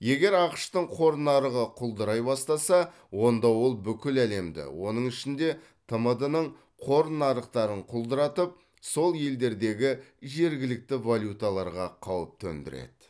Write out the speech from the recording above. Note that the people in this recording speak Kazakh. егер ақш тың қор нарығы құлдырай бастаса онда ол бүкіл әлемді оның ішінде тмд ның қор нарықтарын құлдыратып сол елдердегі жергілікті валюталарға қауіп төндіреді